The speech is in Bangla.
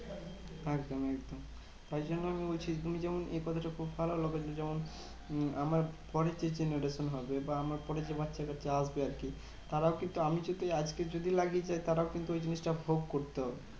একদম একদম। তাই জন্য আমি বলছি, তুমি যেমন এই কথাটা খুব ভালো লাগলো যে, যখন উম আমার পরের যে generation হবে বা আমার পরে যে বাচ্চাকাচ্চা আসবে আরকি, তারাও কিন্তু আমি যদি আজকে যদি লাগিয়ে যাই তারাও কিন্তু ওই জিনিসটা ভোগ করতে হবে।